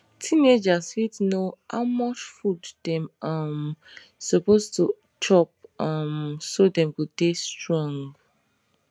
teenagers fit know how much food dem um suppose to chop um so dem go dey strong